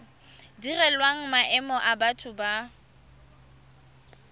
direlwang maemo a batho ba